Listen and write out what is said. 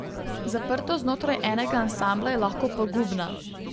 Zaprtost znotraj enega ansambla je lahko pogubna.